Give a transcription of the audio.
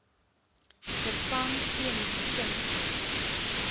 vervang chemiese kunsmis